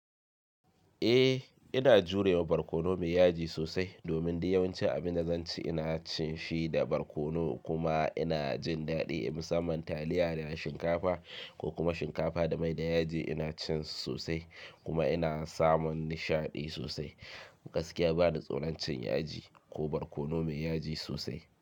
Eh ina jurewa barkono mai yaji sosai domin dunyawancin abin da zan ci ina cin shi da barkono kuma ina jin daɗi. Musamman taliya da shinkafa ko kuma shinkafa da mai da yaji ina cin su sosai kuma ina samun nishaɗi sosai. Gaskiya ba ni tsoron cin yaji ko barkono mai yaji sosai.